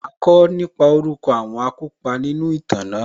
Màá kọ́ nípa orúkọ àwọn akópa nínú ìtàn náà